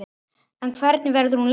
En hvernig verður hún leyst?